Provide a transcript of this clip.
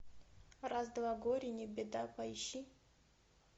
раз два горе не беда поищи